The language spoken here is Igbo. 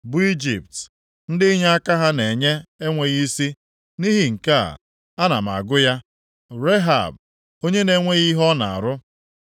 bụ Ijipt, ndị inyeaka ha na-enye enweghị isi. Nʼihi nke a, ana m agụ ya Rehab, onye na-enweghị ihe ọ na-arụ.